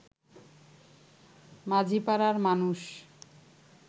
মাঝিপাড়ার মানুষ